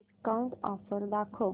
discount offer दाखव